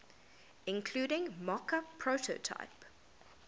including mockup prototype